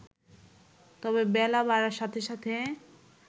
তবে বেলা বাড়ার সাথে সাথে